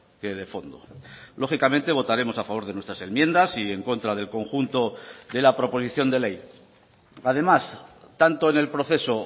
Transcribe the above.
que de fondo lógicamente votaremos a favor de nuestras enmiendas y en contra del conjunto de la proposición de ley además tanto en el proceso